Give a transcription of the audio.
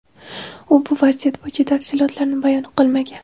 U bu vaziyat bo‘yicha tafsilotlarni bayon qilmagan.